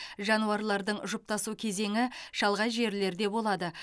жануарлардың жұптасу кезеңі шалғай жерлерде болады